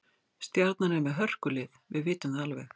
Stjarnan er með hörkulið, við vitum það alveg.